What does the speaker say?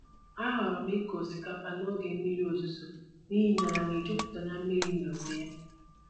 Ahọrọ m ịkụ osikapa n'oge mmiri ozuzo n'ihi na ala na-ejupụta na mmiri n'onwe ya.